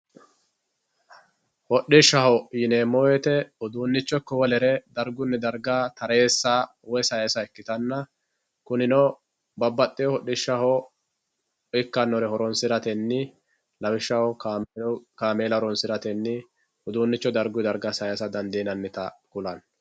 hodhishshaho yineemo woyiite uduunicho ikko wolere dargunni darga tareessa woy sayiisa ikkitanna kunino babbadhiyoo hodhishshaho ikkannore horonsiratenni lawishshaho kaameela horonsiratenni uduunicho darguyi darga sayiisa dandiinannita kulanno.